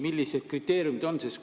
Millised kriteeriumid on?